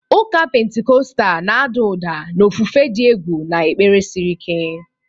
Ụka Pentikọstal na-ada ụda na ofufe dị egwu na ekpere siri ike.